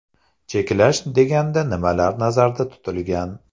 Cheklash deganda nimalar nazarda tutilgan?